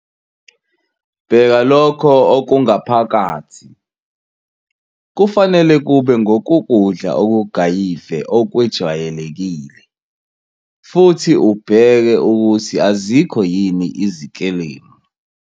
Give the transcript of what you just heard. Bheka lokho okungaphakathi, kufanele kube ngokukudla okugayive okwejwayelekile, futhi ubheke ukuthi azikho yini izikelemu.